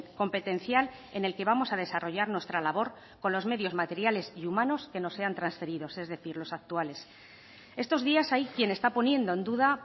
competencial en el que vamos a desarrollar nuestra labor con los medios materiales y humanos que nos sean transferidos es decir los actuales estos días hay quien está poniendo en duda